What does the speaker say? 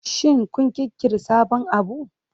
Shin kun ƙirƙiri sabon abu?